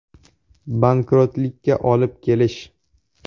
“Bankrotlikka olib kelish”.